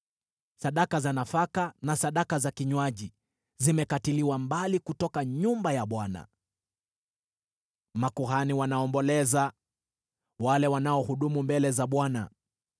Sadaka za nafaka na sadaka za kinywaji zimekatiliwa mbali kutoka nyumba ya Bwana . Makuhani wanaomboleza, wale wanaohudumu mbele za Bwana .